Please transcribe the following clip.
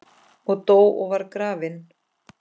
og dó og var grafinn